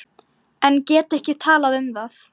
En gat ekki talað um það.